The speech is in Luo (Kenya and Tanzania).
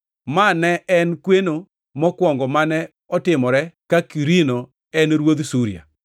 (Ma ne en kweno mokwongo mane otimore ka Kwirinio ne en ruodh Siria.)